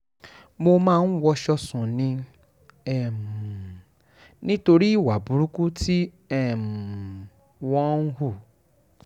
mo máa ń wọṣọ sùn ni um nítorí ìwà burúkú tí um wọ́n ń hù